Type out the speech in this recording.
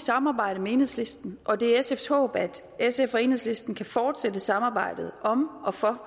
samarbejde med enhedslisten og det er sfs håb at sf og enhedslisten kan fortsætte samarbejdet om og for